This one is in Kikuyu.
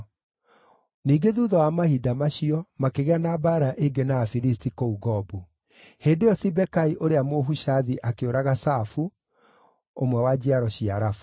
Ningĩ thuutha wa mahinda macio, makĩgĩa na mbaara ĩngĩ na Afilisti kũu Gobu. Hĩndĩ ĩyo Sibekai ũrĩa Mũhushathi akĩũraga Safu, ũmwe wa njiaro cia Rafa.